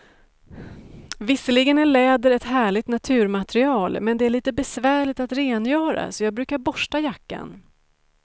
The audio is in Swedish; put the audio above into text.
Visserligen är läder ett härligt naturmaterial, men det är lite besvärligt att rengöra, så jag brukar borsta jackan.